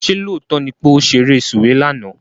Ṣé lóòótọ́ ni pé ó ṣeré sùwé lánàá?